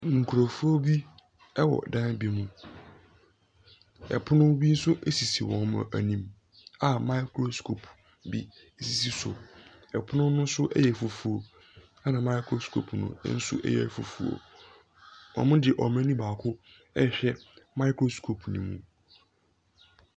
Nkurɔfoɔ bi wɔ dan bi mu, pono bi nso sisi wɔn anim a microscope bi sisi so. Pono ne so yɛ fufuo na microscope no nso yɛ fufuo. Wɔde wɔn ani baako ɛrehwɛ microscope ne mo.